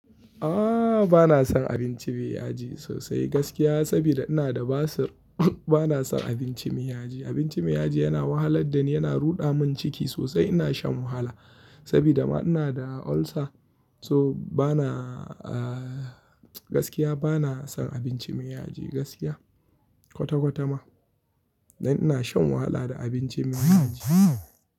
Ah bana son abinci mai yaji sosai gaskiya saboda ina da basir. Bana son abinci mai yaji. Abinci mai yaji yana wahalar da ni, yana ruɗa min ciki sosai. Ina shan wahala sabida ma ina da ulcer. So bana gaskiya bana son abinci mai yaji gaskiya kwata-kwata ma. Dan ina shan wahala da abinci mai yaji.